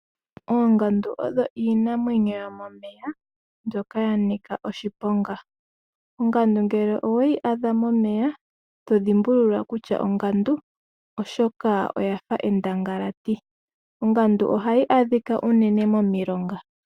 Oongandu odho Iinamwenyo yomomeya mbyoka yanika oshiponga , Ongandu ngele oweyi adha momeya itodhimbulula kutya 0ngandu oshoka oyafa endangalati, Ongandu ohayi adhika unene momilonga.